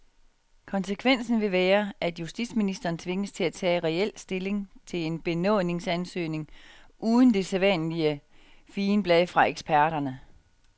Konsekvensen vil være, at justitsministeren tvinges til at tage reel stilling til en benådningsansøgning uden det sædvanlige figenblad fra eksperterne.